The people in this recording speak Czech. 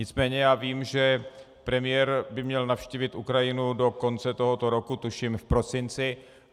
Nicméně já vím, že premiér by měl navštívit Ukrajinu do konce tohoto roku, tuším v prosinci.